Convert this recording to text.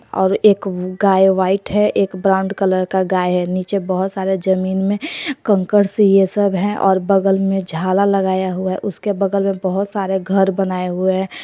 और एक गाय व्हाइट है एक ब्राउंड कलर का गाय है नीचे बहुत सारे जमीन में कंकर से ये सब है और बगल में झाला लगाया हुआ उसके बगल में बहोत सारे घर बनाए हुए हैं।